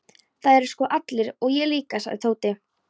Það eru sko allir og ég líka sagði Tóti.